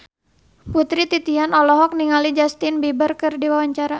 Putri Titian olohok ningali Justin Beiber keur diwawancara